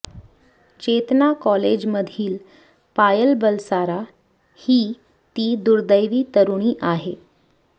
चेतना कॉलेजमधील पायल बलसारा ही ती दुर्दैवी तरूणी आहे